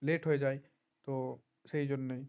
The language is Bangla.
late হয়ে যায় তো সেজন্য